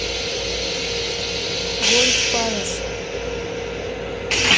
гольф палас